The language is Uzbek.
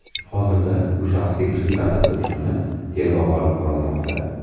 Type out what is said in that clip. Hozirda bu shaxs tegishli tartibda ushlanib, tergov olib borilmoqda.